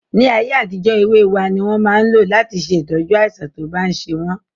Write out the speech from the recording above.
Ní ayé àtijó èwe wá ní wọ́n máa ń lò láti ṣe ìtọ́jú àìsàn tó bá ń ṣe wọ́n